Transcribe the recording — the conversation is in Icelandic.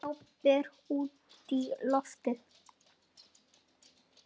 Glápir útí loftið.